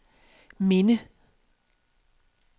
minde